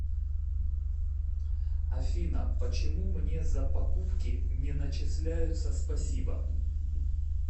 афина почему мне за покупки не начисляются спасибо